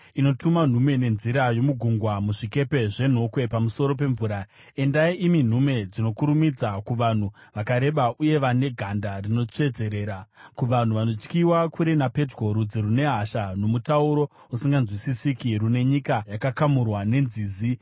inotuma nhume nenzira yomugungwa, muzvikepe zvenhokwe pamusoro pemvura. Endai, imi nhume dzinokurumidza, kuvanhu vakareba uye vane ganda rinotsvedzerera, kuvanhu vanotyiwa kure napedyo, rudzi rune hasha nomutauro usinganzwisisiki, rune nyika yakakamurwa nenzizi.